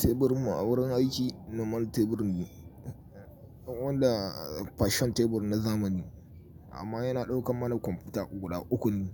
Teburinmu a wurin aiki normal tebur ne wanda fashion tebur na zamani, amma yana ɗaukan mana kwamfuta guda uku ne.